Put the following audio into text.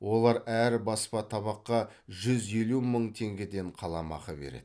олар әр баспа табаққа жүз елу мың теңгеден қаламақы береді